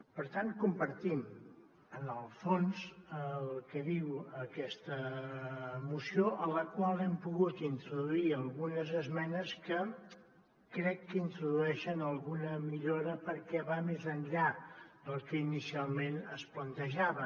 per tant compartim en el fons el que diu aquesta moció a la qual hem pogut in·troduir algunes esmenes que crec que introdueixen alguna millora perquè van més enllà del que inicialment es plantejava